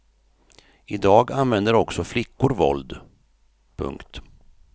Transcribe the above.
I dag använder också flickor våld. punkt